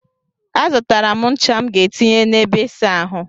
A zụtara m ncha m ga etinye na ebe ịsa ahụ.